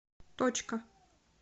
точка